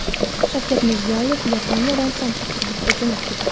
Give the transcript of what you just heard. Shavkat Mirziyoyev Yaponiyadan Sankt-Peterburgga jo‘nab ketdi.